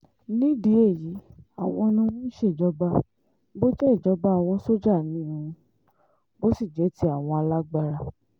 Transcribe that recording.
nídìí èyí àwọn ni wọ́n ń ṣèjọba bó jẹ́ ìjọba àwọn sójà ni ò bó sì jẹ́ ti àwọn alágbárà